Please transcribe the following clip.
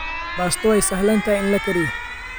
Baasto waa sahlan tahay in la kariyo.